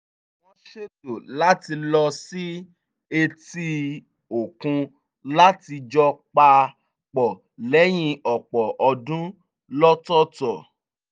wọ́n ṣètò láti lọ sí etí-òkun láti jọ pa pọ̀ lẹ́yìn ọ̀pọ̀ ọdún lọ́tọ̀ọ̀tọ̀